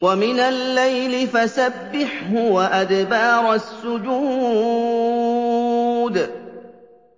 وَمِنَ اللَّيْلِ فَسَبِّحْهُ وَأَدْبَارَ السُّجُودِ